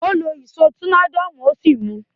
Ó lo àwon ìsó tornado ó sì mu